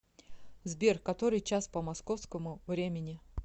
сбер который час по московскому времени